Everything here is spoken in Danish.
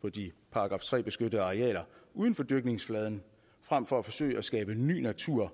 på de § tre beskyttede arealer uden for dyrkningsfladen frem for at forsøge at skabe ny natur